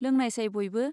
लोंनायसाय बयबो.